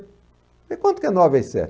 falei, quanto que é nove vezes sete?